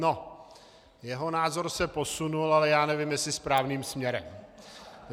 No, jeho názor se posunul, ale já nevím jestli správným směrem.